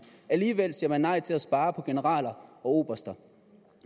alligevel siger man nej til at spare på generaler og oberster